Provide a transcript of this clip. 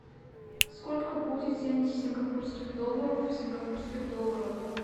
сколько будет семьдесят сингапурских долларов в сингапурских долларах